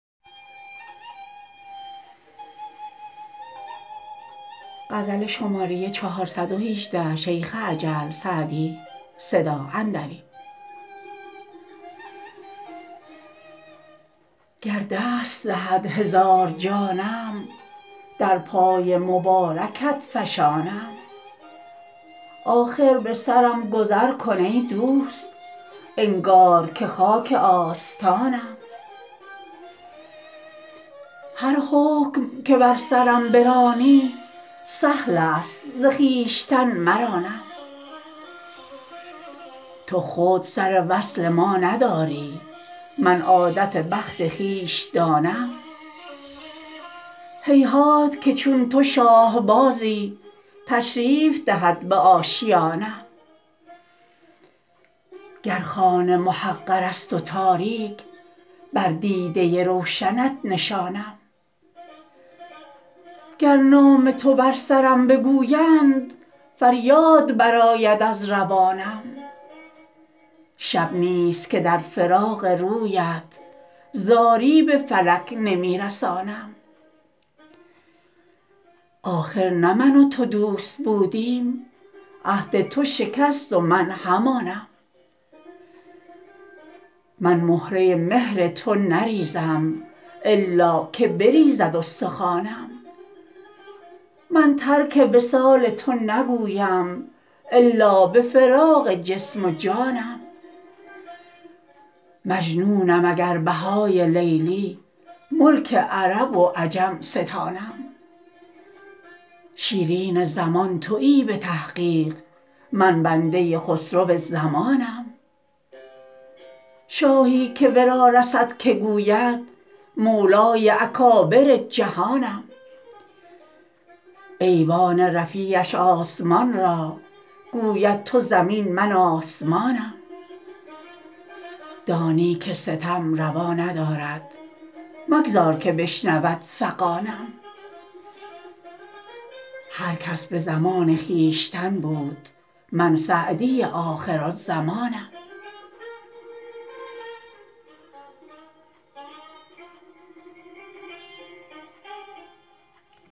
گر دست دهد هزار جانم در پای مبارکت فشانم آخر به سرم گذر کن ای دوست انگار که خاک آستانم هر حکم که بر سرم برانی سهل است ز خویشتن مرانم تو خود سر وصل ما نداری من عادت بخت خویش دانم هیهات که چون تو شاه بازی تشریف دهد به آشیانم گر خانه محقر است و تاریک بر دیده روشنت نشانم گر نام تو بر سرم بگویند فریاد برآید از روانم شب نیست که در فراق رویت زاری به فلک نمی رسانم آخر نه من و تو دوست بودیم عهد تو شکست و من همانم من مهره مهر تو نریزم الا که بریزد استخوانم من ترک وصال تو نگویم الا به فراق جسم و جانم مجنونم اگر بهای لیلی ملک عرب و عجم ستانم شیرین زمان تویی به تحقیق من بنده خسرو زمانم شاهی که ورا رسد که گوید مولای اکابر جهانم ایوان رفیعش آسمان را گوید تو زمین من آسمانم دانی که ستم روا ندارد مگذار که بشنود فغانم هر کس به زمان خویشتن بود من سعدی آخرالزمانم